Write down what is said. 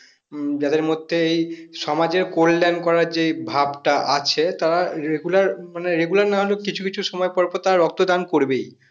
উম যাদের মধ্যে এই সমাজের কল্যাণ করার যে এই ভাবটা আছে তারা regular মানে regular না হলেও কিছু কিছু সময় পর পর তারা রক্ত দান করবেই